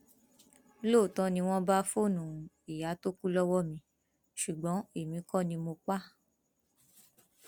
lóòótọ ni wọn bá fóònù ìyá tó kù lọwọ mi ṣùgbọn èmi kò ní mọ pa á